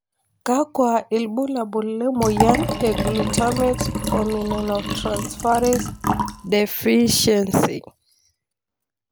kakwa ilbulabul lemoyian e Glutamate formiminotransferase deficiency?